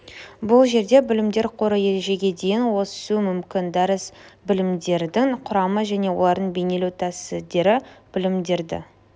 бұл жерде білімдер қоры ережеге дейін өсу мүмкін дәріс білімдердің құрамы және оларды бейнелеу тәсідері білімдерді